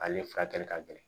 Ale furakɛli ka gɛlɛn